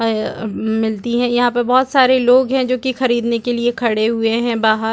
ह ये ए मिलती है यहां पर बहुत सारे लोग हैं जो कि खरीदने के लिए खड़े हुए हैं बाहर।